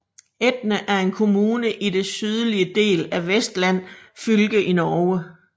Etne er en kommune i den sydlige del af Vestland fylke i Norge